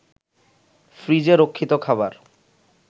ফ্রিজে রক্ষিত খাবার